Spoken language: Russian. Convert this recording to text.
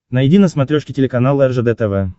найди на смотрешке телеканал ржд тв